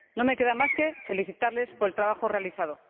No me queda más que felicitarles por el trabajo realizado.